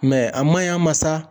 a maɲi a ma sa.